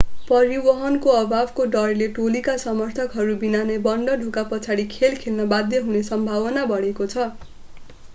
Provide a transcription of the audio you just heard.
परिवहनको अभावको डरले टोलीका समर्थकहरू बिना नै बन्द ढोका पछाडि खेल खेल्न बाध्य हुने सम्भावना बढेको छ